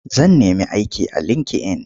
Zan nemi aiki a linki-in.